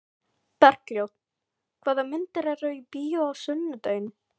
Bergljót, hvaða myndir eru í bíó á sunnudaginn?